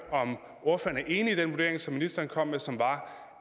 er enig i den vurdering som ministeren kom med og som var